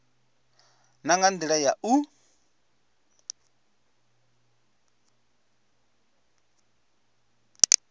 na nga ndila ya u